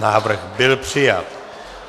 Návrh byl přijat.